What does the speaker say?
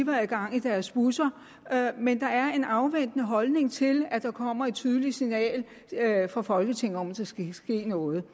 gang i deres busser men der er en afventende holdning til at der kommer et tydeligt signal fra folketinget om at der skal ske noget